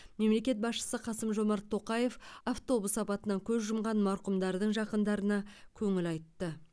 мемлекет басшысы қасым жомарт тоқаев автобус апатынан көз жұмған марқұмдардың жақындарына көңіл айтты